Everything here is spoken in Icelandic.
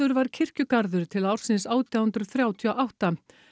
var kirkjugarður til ársins átján hundruð þrjátíu og átta